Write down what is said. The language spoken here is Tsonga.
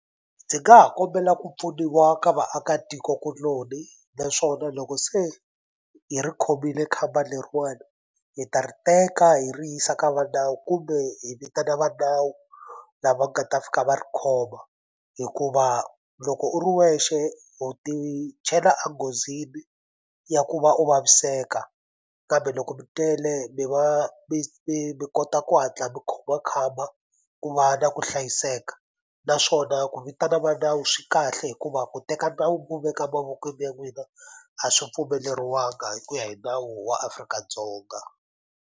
Ndzi nga ha kombela ku pfuniwa ka vaakatikokuloni naswona loko se hi ri khomile khamba leriwani hi ta ri teka hi ri yisa ka va nawu kumbe hi vitana va nawu lava nga ta fika va ri khoma hikuva loko u ri wexe u ti chela a nghozini ya ku va u vaviseka kambe loko mi tele mi va mi kota ku hatla mi khoma khamba ku va na ku hlayiseka naswona ku vitana va nawu swi kahle hikuva ku teka nawu mi wu veka mavokweni ya n'wina a swi pfumeleriwanga hi ku ya hi nawu wa Afrika-Dzonga.